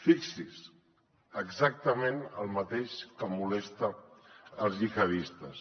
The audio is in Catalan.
fixi’s exactament el mateix que molesta els gihadistes